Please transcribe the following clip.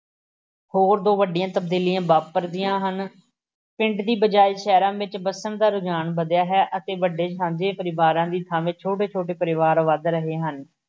ਹੋਰ ਦੋ ਵੱਡੀਆਂ ਤਬਦੀਲੀਆਂ ਵਾਪਰਦੀਆਂ ਹਨ। ਪਿੰਡਾਂ ਦੀ ਬਜਾਏ ਸ਼ਹਿਰਾਂ ਵਿੱਚ ਵੱਸਣ ਦਾ ਰੁਝਾਨ ਵਧਿਆ ਹੈ ਅਤੇ ਵੱਡੇ ਸਾਂਝੇ ਪਰਿਵਾਰਾਂ ਦੀ ਥਾਂਵੇਂ ਛੋਟੇ ਛੋੇ ਪਰਿਵਾਰ ਵੱਧ ਰਹੇ ਹਨ।